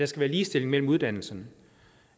skal være ligestilling mellem uddannelserne